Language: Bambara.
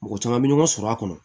Mɔgɔ caman bɛ ɲɔgɔn sɔrɔ a kɔnɔ